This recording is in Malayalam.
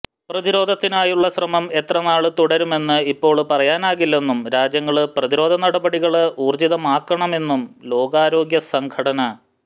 പ്രതിരോധത്തിനായുള്ള ശ്രമം എത്ര നാള് തുടരുമെന്ന് ഇപ്പൊള് പറയാനാകില്ലെന്നും രാജ്യങ്ങള് പ്രതിരോധ നടപടികള് ഊര്ജിതമാക്കാണമെന്നും ലോകാരോഗ്യ സംഘടന